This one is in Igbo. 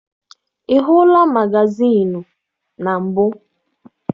Ị hụla magazịịnụ na mbụ?